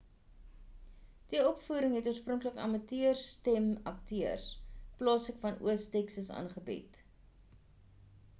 die opvoering het oorspronklik amateur stem akteurs plaaslik aan oos texas aangebied